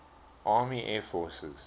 army air forces